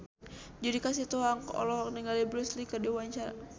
Judika Sitohang olohok ningali Bruce Lee keur diwawancara